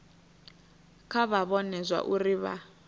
kha vha vhone zwauri vha